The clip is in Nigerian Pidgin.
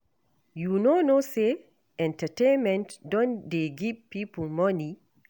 You no know sey entertainment don dey give pipo money?